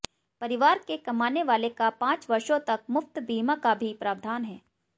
परिवार के कमाने वाले का पांच वर्षों तक मुफ्त बीमा का भी प्रावधान है